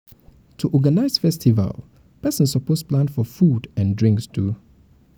to organize festival persin suppose plan for food for food and drinks too